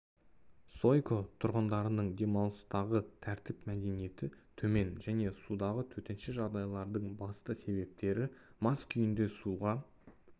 сойко тұрғындардың демалыстағы тәртіп мәдениеті төмен және судағы төтенше жағдайлардың басты себептері мас күйінде суға